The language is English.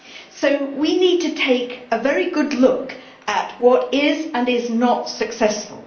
So we need to take a very good look at what is, and what is not, successful.